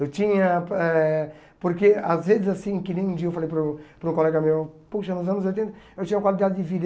Eu tinha eh... Porque, às vezes, assim, que nem um dia eu falei para um para um colega meu, poxa, nos anos oitenta eu tinha qualidade de vida.